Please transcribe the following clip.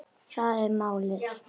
Það er málið.